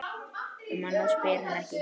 Um annað spyr hann ekki.